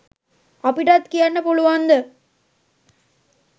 අපිටත් කියන්න පුළුවන්ද